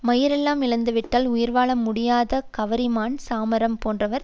மயிர்எலாம் இழந்துவிட்டால் உயிர் வாழ முடியாத கவரிமான் சாமரம் போன்றவர்